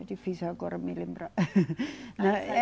É difícil agora me lembrar.